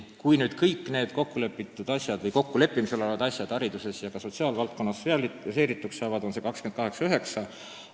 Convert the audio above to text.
Kui nüüd kõik need kokkulepitud või kokkuleppimisel olevad asjad hariduses ja ka sotsiaalvaldkonnas realiseerituks saavad, on see protsent 28–29.